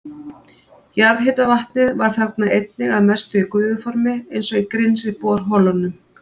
Jarðhitavatnið var þarna einnig að mestu í gufuformi eins og í grynnri borholunum.